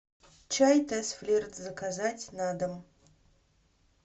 чай тесс флирт заказать на дом